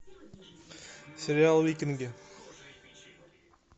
сериал викинги